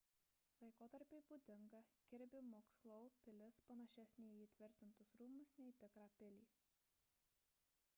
laikotarpiui būdinga kirbi mukslou pilis panašesnė į įtvirtintus rūmus nei į tikrą pilį